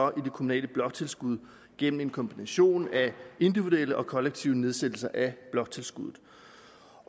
det kommunale bloktilskud gennem en kombination af individuelle og kollektive nedsættelser af bloktilskuddet